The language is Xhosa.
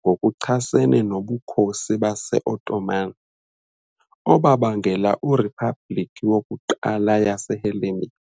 ngokuchasene noBukhosi baseOttoman, obabangela iRiphabhliki yokuQala yaseHellenic .